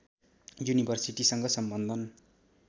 युनिभर्सिटीसँग सम्बन्धन